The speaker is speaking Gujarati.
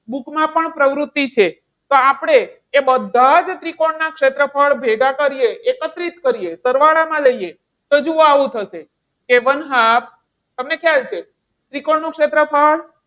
book માં પણ પ્રવૃત્તિ છે. તો આપણે એ બધા જ ત્રિકોણ ના ક્ષેત્રફળ ભેગા કરીએ, એકત્રિત કરીએ, સરવાળામાં લઈએ. તો જુઓ આવું થશે કે one half તમને ખ્યાલ છે ત્રિકોણનું ક્ષેત્રફળ.